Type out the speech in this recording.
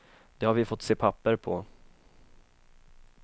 Det har vi fått se papper på.